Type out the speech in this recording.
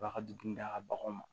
A b'a ka dumuni d'a ka baganw ma